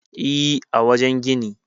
E, a wajen gini.